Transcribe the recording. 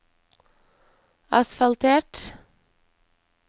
asfaltert